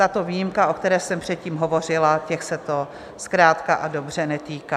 Tato výjimka, o které jsem předtím hovořila, těch se to zkrátka a dobře netýká.